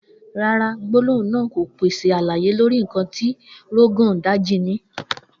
No, the statement doesn't provide information on what Rogon Daji possesses.